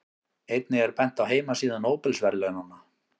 Einnig er bent á heimasíðu Nóbelsverðlaunanna.